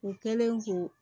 U kɛlen k'o